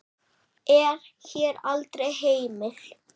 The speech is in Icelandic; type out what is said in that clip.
er hér aldrei heimil.